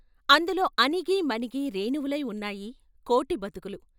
అందులో అణిగి మణిగి రేణువులై ఉన్నాయి కోటి బతుకులు.